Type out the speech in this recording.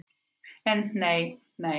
En nei, nei.